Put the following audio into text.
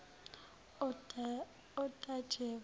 otajevo